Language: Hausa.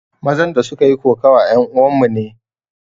Mazan da suka yi kokawa yan uwan mu ne